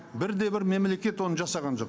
бір де бір мемлекет оны жасаған жоқ